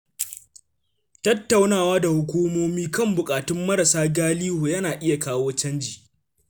Tattaunawa da hukumomi kan buƙatun marasa galihu yana iya kawo canji.